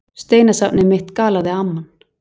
Steinasafnið mitt galaði amman.